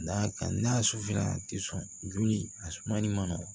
N'a ka n'a susula a tɛ sɔn joli a sumali ma